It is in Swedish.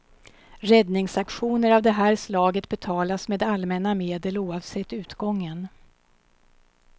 Räddningsaktioner av det här slaget betalas med allmänna medel oavsett utgången.